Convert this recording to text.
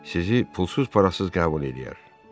Sizi pulsuz-parasız qəbul eləyər.